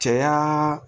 Caya